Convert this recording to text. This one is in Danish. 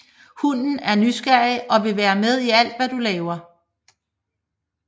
Hunden er nysgerrig og vil være med i alt hvad du laver